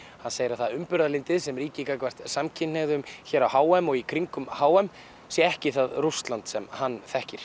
segir að það umburðarlyndi sem ríki gagnvart samkynhneigðum hér á h m og í kringum h m sé ekki það Rússland sem hann þekkir